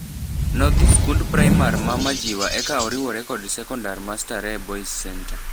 Nodhi skund primar mar Majiwa eka oriwore kod sekondar ma Starehe Boys' Centre.